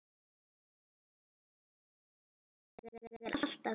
Ég er alltaf til.